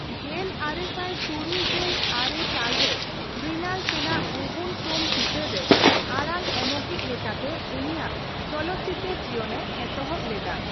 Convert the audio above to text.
ᱜᱮᱞ ᱟᱨᱮᱥᱟᱭ ᱛᱩᱨᱩᱭ ᱜᱮᱞ ᱟᱨᱮ ᱥᱟᱞ ᱨᱮ ᱢᱨᱤᱱᱟᱞ ᱥᱮᱱᱟᱜ 'ᱣᱩᱵᱚᱱ ᱥᱳᱢ' ᱪᱤᱛᱟᱹᱨ ᱨᱮ ᱟᱲᱟᱝ ᱮᱢᱚᱜᱤᱪ ᱞᱮᱠᱟᱛᱮ ᱩᱱᱤᱭᱟᱜ ᱪᱚᱞᱚᱛ ᱪᱤᱛᱟᱹᱨᱼᱡᱤᱭᱚᱱᱮ ᱮᱛᱚᱦᱚᱯ ᱞᱮᱫᱟ ᱾